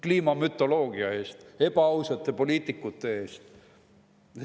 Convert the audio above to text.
Kliimamütoloogia eest, ebaausate poliitikute eest.